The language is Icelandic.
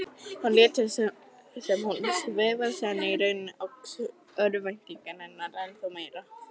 Hún lét sem hún sefaðist en í rauninni óx örvænting hennar ennþá meira.